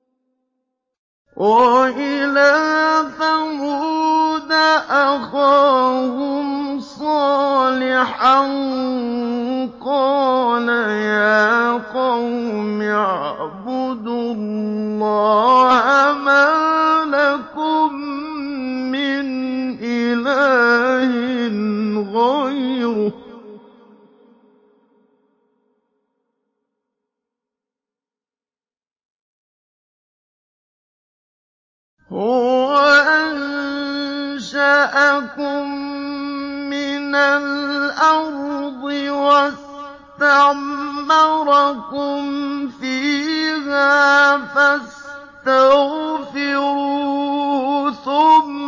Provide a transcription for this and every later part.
۞ وَإِلَىٰ ثَمُودَ أَخَاهُمْ صَالِحًا ۚ قَالَ يَا قَوْمِ اعْبُدُوا اللَّهَ مَا لَكُم مِّنْ إِلَٰهٍ غَيْرُهُ ۖ هُوَ أَنشَأَكُم مِّنَ الْأَرْضِ وَاسْتَعْمَرَكُمْ فِيهَا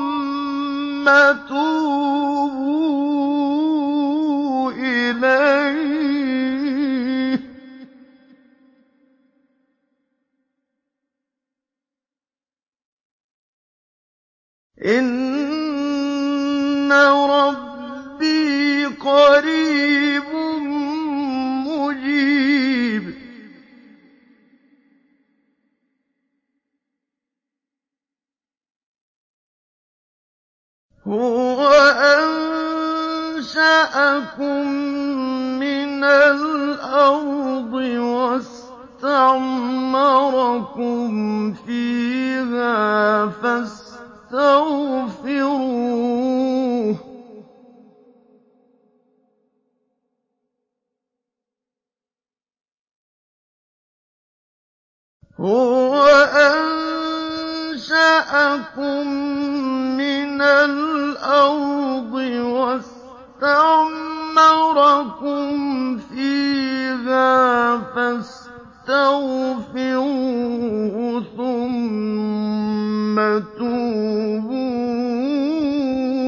فَاسْتَغْفِرُوهُ ثُمَّ تُوبُوا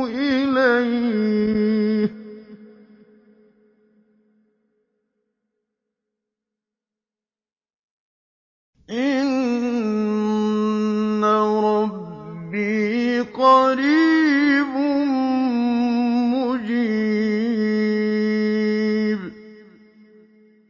إِلَيْهِ ۚ إِنَّ رَبِّي قَرِيبٌ مُّجِيبٌ